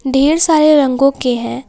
ढेर सारे रंगों के हैं।